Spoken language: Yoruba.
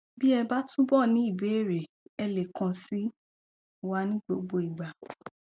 bí ẹ bá túbọ ní ìbéèrè ẹ lè kàn sí wa ní gbogbo ìgbà